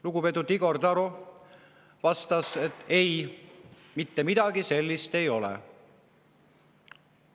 Lugupeetud Igor Taro vastas, et ei, mitte midagi sellist ei ole.